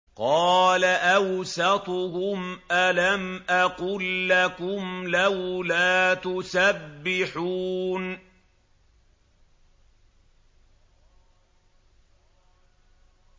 قَالَ أَوْسَطُهُمْ أَلَمْ أَقُل لَّكُمْ لَوْلَا تُسَبِّحُونَ